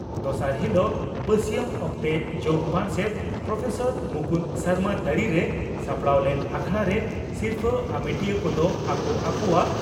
ᱫᱚᱥᱟᱨ ᱦᱤᱞᱚᱜ ᱵᱟᱹᱥᱤᱭᱟᱹᱢ ᱚᱠᱛᱮ ᱡᱚᱜᱚ ᱯᱟᱨᱥᱮᱛ ᱯᱨᱚᱯᱷᱮᱥᱚᱨ ᱢᱩᱠᱩᱱᱫᱚ ᱥᱚᱨᱢᱟ ᱛᱟᱹᱨᱤᱨᱮ ᱥᱟᱯᱲᱟᱣ ᱞᱮᱱ ᱟᱠᱷᱲᱟ ᱨᱮ ᱥᱤᱨᱯᱷᱟᱹ ᱟᱢᱮᱴᱤᱭᱟᱹ ᱠᱚᱫᱚ ᱟᱠᱚ ᱟᱠᱚᱣᱟᱜ